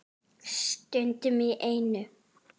Stundum í einu.